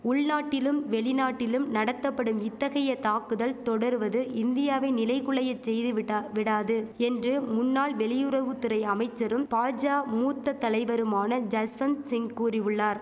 உள்நாட்டிலும் வெளிநாட்டிலும் நடத்தபடும் இத்தகைய தாக்குதல் தொடர்வது இந்தியாவை நிலைகுலைய செய்துவிட்டா விடாது என்று முன்னாள் வெளியுறவு துறை அமைச்சரும் பாஜா மூத்த தலைவருமான ஜஸ்வந்த் சிங் கூறியுள்ளார்